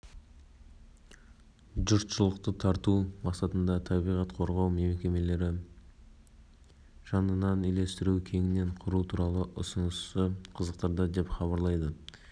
парламент мәжілісінің пленарлық отырысында депутаттарды премьер-министрінің орынбасары ауыл шаруашылығы министрі мырзахметовтың ерекше қорғалатын табиғи аумақтарды басқаруға